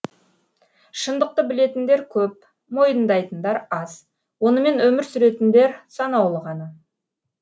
шындықты білетіндер көп мойындайтындар аз онымен өмір сүретіндер санаулы ғана